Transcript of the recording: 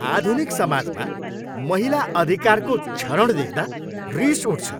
आधुनिक समाजमा महिला अधिकारको क्षरण देख्दा रिस उठ्छ।